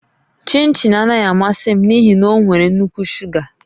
Chịnchịn anaghị amasị m n'ihi na ọ nwere nnukwu shuga